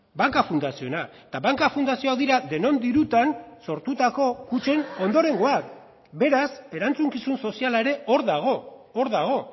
banka fundazioena eta banka fundazioak dira denon dirutan sortutako kutxen ondorengoak beraz erantzukizun soziala ere hor dago hor dago